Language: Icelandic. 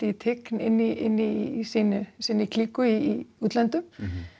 í tign inn í sinni sinni klíku í útlöndum